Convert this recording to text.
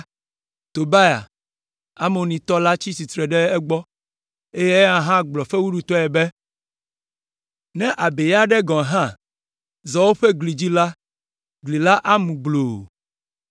Tobia, Amonitɔ la tsi tsitre ɖe egbɔ, eye eya hã gblɔ fewuɖutɔe be, “Ne abei aɖe gɔ̃ hã zɔ woƒe gli dzi la, gli la amu gbloo!”